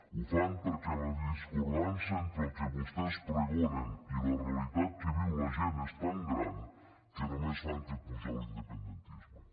ho fan perquè la discordança entre el que vostès pregonen i la realitat que viu la gent és tan gran que només fan que apujar l’independentisme